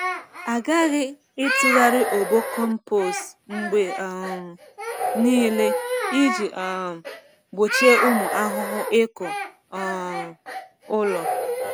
A ghaghị ịtụgharị obo compost mgbe um niile iji um gbochie ụmụ ahụhụ ịkụ um ụlọ.